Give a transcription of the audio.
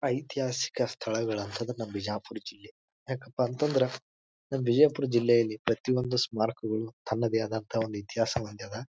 ಐತಿಹಾಸಿಕ ಸ್ಥಳಗಳು ಅಂತ ಅಂದ್ರೆ ನಮ್ ಬಿಜಾಪುರ್ ಜಿಲ್ಲಿ ಯಾಕಪ್ಪ ಅಂತ ಅಂದ್ರೆ ನಮ್ ಬಿಜಾಪುರ್ ಜಿಲ್ಲೆಯಲ್ಲಿ ಪ್ರತಿಯೊಂದು ಸ್ಮಾರಕಗಳು ತನ್ನದೇ ಆದ ಒಂದು ಇತಿಹಾಸ ಹೊಂದ್ಯದ.